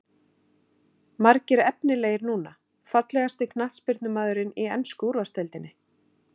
Margir efnilegir núna Fallegasti knattspyrnumaðurinn í ensku úrvalsdeildinni?